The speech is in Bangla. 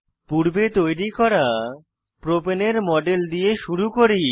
পূর্বে তৈরী করা প্রপাণে প্রোপেন এর মডেল দিয়ে শুরু করি